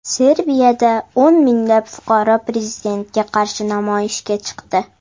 Serbiyada o‘n minglab fuqaro prezidentga qarshi namoyishga chiqdi.